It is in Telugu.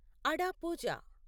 అడా పూజ